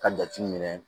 Ka jate minɛ